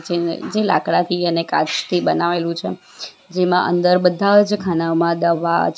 જે લાકડાથી અને કાચથી બનાવેલું છે જેમાં અંદર બધા જ ખાનામાં દવા છે.